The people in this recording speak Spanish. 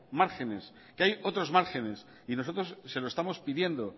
márgenes que hay otros márgenes y nosotros se lo estamos pidiendo